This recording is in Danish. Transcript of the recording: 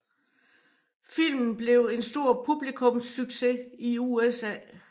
Filmen blev en stor publikumssucces i USA